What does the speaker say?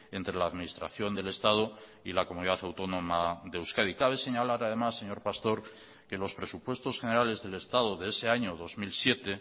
entre la administración del estado y la comunidad autónoma de euskadi cabe señalar además señor pastor que los presupuestos generales del estado de ese año dos mil siete